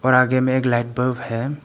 और आगे में एक लाइट बल्ब हैं।